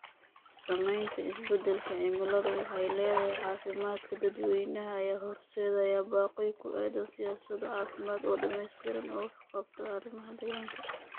Saamaynta isbeddelka cimiladu ku leedahay caafimaadka dadweynaha ayaa horseedaya baaqyo ku aaddan siyaasado caafimaad oo dhammaystiran oo wax ka qabta arrimaha deegaanka.